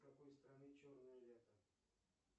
у какой страны черное лето